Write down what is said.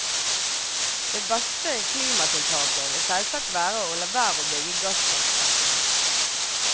Det beste klimatiltaket vil selvsagt være å la være å bygge gasskraftverkene.